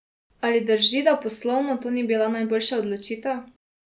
Ali drži, da poslovno to ni bila najboljša odločitev?